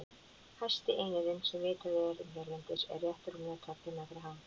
Hæsti einirinn sem vitað er um hérlendis er rétt rúmlega tveggja metra hár.